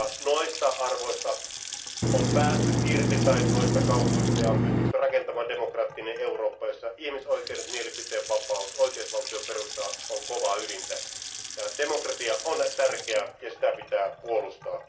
Noista kauhuista on päästy irti ja on pystytty rakentamaan demokraattinen Eurooppa, jossa ihmisoikeudet, mielipiteenvapaus ja oikeusvaltioperusta ovat kovaa ydintä ja demokratia on tärkeä ja sitä pitää puolustaa.